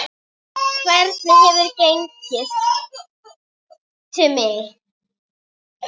Hvernig hefur gengið?